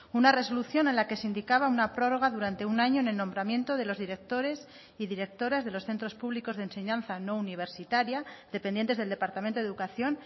una resolución en la que se indicaba una prórroga durante un año en el nombramiento de los directores y directoras de los centros públicos de enseñanza no universitaria dependientes del departamento de educación